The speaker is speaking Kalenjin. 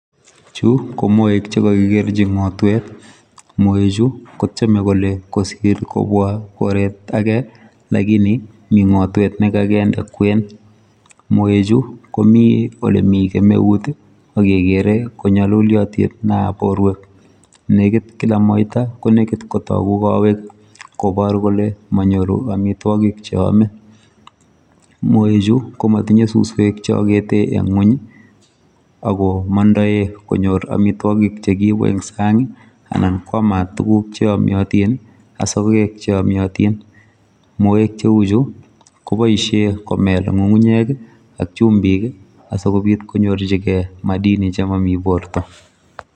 Chu ko moek chekakikerji ngotwet. Moechu kotiemei kole kosir kobwa koret age lakini mi ngotwek ne kakende kwen. Moechu komi ole mi kemeut ak kekere konyaluliotin borwek nekit kila moita konekit kotoku kowek kobor kole manyoru amitwogik che yomei. Moechu ko matinyei suswek che amei eng ngwong ako mondoe konyor amitwogik che kikiibu eng sang anan kwamat tuguk che yomiotin ak sokek cheyomiotin. Moek cheu chu ko boishe komel nyungunyek ak chumbik asi kobit konyorji gei madini che mamii borto.